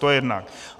To jednak.